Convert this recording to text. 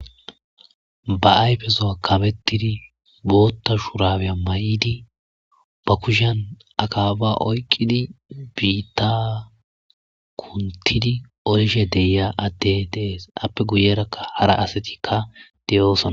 Ba ayfezuwa kamettidi bootta shurabiya mayidi ba kushiyan akaaba oyqqidi biita kunttidi oyishe de7iya addey de7ees iyappe guyerakka hara astikka de7oosona.